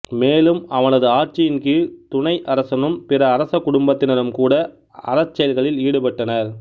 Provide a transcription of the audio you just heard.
மேலும் அவனது ஆட்சியின் கீழ் துணை அரசனும் பிற அரச குடும்பத்தினரும் கூட அறச் செயல்களில் ஈடுபட்டனர்